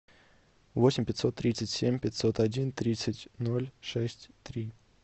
восемь пятьсот тридцать семь пятьсот один тридцать ноль шесть три